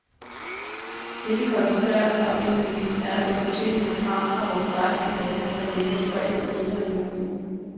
Det vi koncentrerer os om lige nu, er at få forsyninger frem fra vores seksten lagre, der ligger spredt i hele regionen.